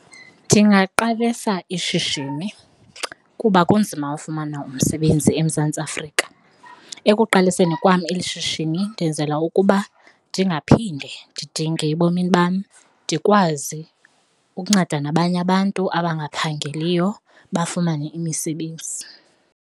Ndingaqalisa ishishini kuba kunzima ufumana umsebenzi eMzantsi Afrika. Ekuqaliseni kwam eli shishini ndenzela ukuba ndingaphinde ndidinge ebomini bam, ndikwazi ukunceda nabanye abantu abangaphangeliyo bafumane imisebenzi.